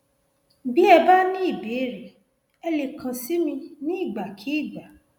bí ẹ bá ní ìbéèrè ẹ lè kàn sí mi nígbàkigbà